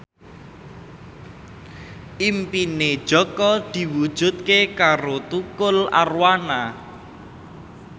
impine Jaka diwujudke karo Tukul Arwana